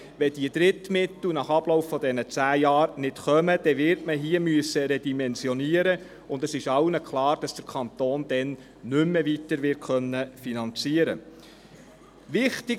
Wenn nach Ablauf dieser zehn Jahre keine Drittmittel kommen, wird man hier redimensionieren müssen, und es ist allen klar, dass der Kanton dann nicht mehr wird weiter finanzieren können.